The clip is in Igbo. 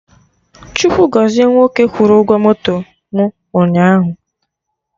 Chukwu gọzie nwoke kwụrụ ụgwọ moto mụ ụnyaahụ